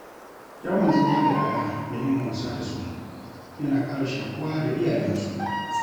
Yawan zama da 'ya'ya da yin wasa da su, yana ƙara shaƙuwa da iyayensu.